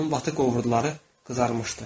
Onun batıq ovurduları qızarmışdı.